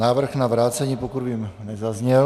Návrh na vrácení, pokud vím, nezazněl.